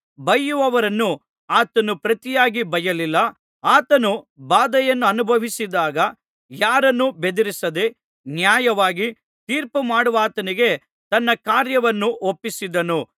ಬಯ್ಯುವವರನ್ನು ಆತನು ಪ್ರತಿಯಾಗಿ ಬಯ್ಯಲಿಲ್ಲ ಆತನು ಬಾಧೆಯನ್ನನುಭವಿಸಿದಾಗ ಯಾರನ್ನೂ ಬೆದರಿಸದೆ ನ್ಯಾಯವಾಗಿ ತೀರ್ಪು ಮಾಡುವಾತನಿಗೆ ತನ್ನ ಕಾರ್ಯವನ್ನು ಒಪ್ಪಿಸಿದನು